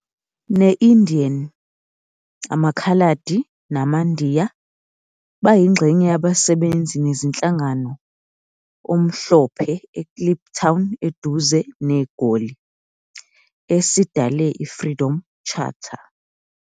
ne-Indian, amaKhaladi namaNdiya bayingxenye yabasebenzi nezinhlangano omhlophe eKliptown eduze NeGoli, esidale i- Freedom Charter.